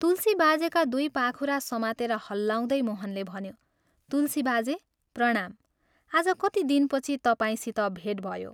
तुलसी बाजेका दुइ पाखुरा समातेर हल्लाउँदै मोहनले भन्यो, "तुलसी बाजे प्रणाम, आज कति दिनपछि तपाईंसित भेट भयो।